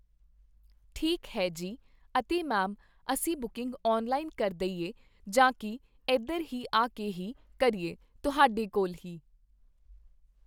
ਠੀਕ ਹੈ ਜੀ ਅਤੇੇ ਮੈਮ ਅਸੀਂ ਬੁਕਿੰਗ ਔਨਲਾਈਨ ਕਰ ਦਈਏ ਜਾਂ ਕੀ ਇਧਰ ਹੀ ਆ ਕੇ ਹੀ ਕਰੀਏ, ਤੁਹਾਡੇ ਕੋਲ ਹੀ